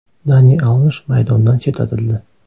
Dani Alvesh maydondan chetlatildi.